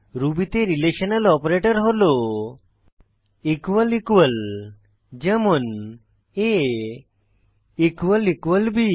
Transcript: রুবিতে relational operator হল equal equal যেমন ab eql